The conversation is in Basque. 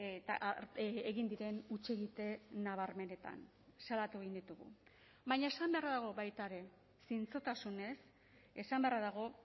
eta egin diren hutsegite nabarmenetan salatu egin ditugu baina esan beharra dago baita ere zintzotasunez esan beharra dago